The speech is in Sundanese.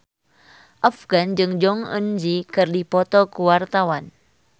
Afgan jeung Jong Eun Ji keur dipoto ku wartawan